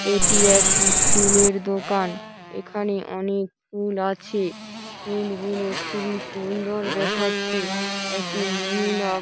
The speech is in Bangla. এটি একটি ফুলের দোকান। এখানে অনেক ফুল আছে। ফুল গুলো খুবই সুন্দর দেখাচ্ছে। একটি মহিলা--